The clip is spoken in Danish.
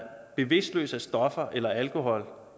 bevidstløs af stoffer eller alkohol